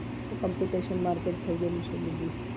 એ તો competition માં થય ગયેલું છે